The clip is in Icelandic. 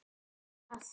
Hvað var það?